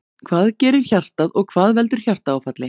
Hvað gerir hjartað og hvað veldur hjartaáfalli?